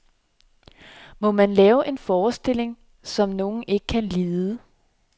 Må man lave en forestilling, som nogen ikke kan lide?